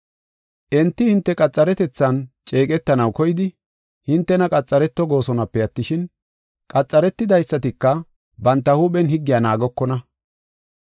Enti hinte qaxaretethan ceeqetanaw koyidi hintena qaxareto goosonape attishin, qaxaretidaysatika banta huuphen higgiya naagokona.